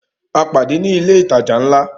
A pàdé ní ilé ìtajà ńlá